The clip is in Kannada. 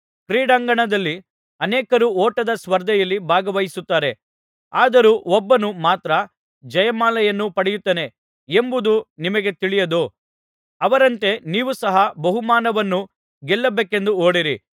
ಕ್ರೀಡಾಂಗಣದಲ್ಲಿ ಅನೇಕರು ಓಟದ ಸ್ಪರ್ಧೆಯಲ್ಲಿ ಭಾಗವಹಿಸುತ್ತಾರೆ ಆದರೂ ಒಬ್ಬನು ಮಾತ್ರ ಜಯಮಾಲೆಯನ್ನು ಪಡೆಯುತ್ತಾನೆ ಎಂಬುದು ನಿಮಗೆ ತಿಳಿಯದೋ ಅವರಂತೆ ನೀವೂ ಸಹ ಬಹುಮಾನವನ್ನು ಗೆಲ್ಲಬೇಕೆಂದು ಓಡಿರಿ